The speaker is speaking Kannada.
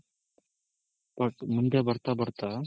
but ಮುಂದೆ ಬರ್ತಾ ಬರ್ತಾ